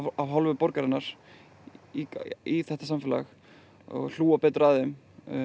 af hálfu borgarinnar í þetta samfélag hlúa betur að þeim